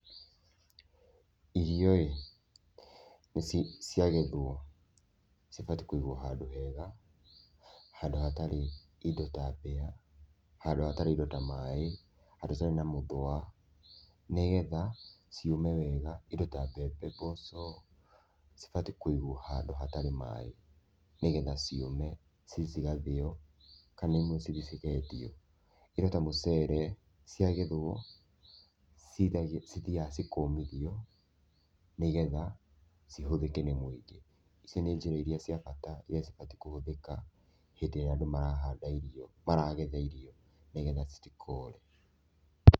Irio-ĩ ciagethwo cibatiĩ kũigwo handũ hega, handũ hatarĩ indo ta mbĩa, handũ hatarĩ indo ta maĩ, handũ hatarĩ na mũthũa nĩ getha ciũme wega indo ta mbembe, mboco cibatiĩ kũigwo handũ hatarĩ maĩ nĩ getha ciũmecithi cigathĩo kana imwe cithi cikendio. Indo ta mũcere ciagethwo cithiaga cikomithio nĩ getha cihũthĩke nĩ mũingĩ. Icio nĩ njĩra cia bata iria cibatiĩ kũhũthĩka hĩndĩ ĩrĩa andũ marahanda irio, maragetha irio nĩ getha citikore.